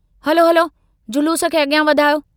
हलो हलो जलूस खे अग्रयां वधायो।